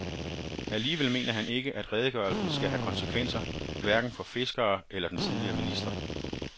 Alligevel mener han ikke, at redegørelsen skal have konsekvenser hverken for fiskere eller den tidligere minister.